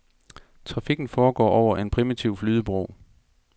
Trafikken foregår over en primitiv flydebro.